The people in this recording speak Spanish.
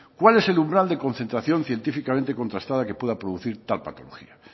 cuál es el umbral de concentración científicamente contrastada que pueda producir tal patología